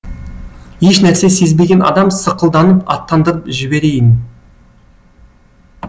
ешнәрсе сезбеген адам сықылданып аттандырып жіберейін